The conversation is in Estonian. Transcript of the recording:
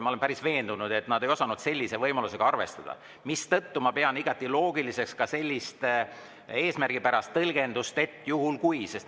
Ma olen päris veendunud, et nad ei osanud sellise võimalusega arvestada, mistõttu pean igati loogiliseks ka sellist eesmärgipärast tõlgendust, et juhul kui …